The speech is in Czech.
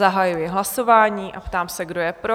Zahajuji hlasování a ptám se, kdo je pro?